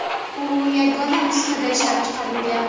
U yagona nusxada ishlab chiqarilgan.